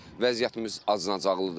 Vəziyyətimiz acınacaqlıdır.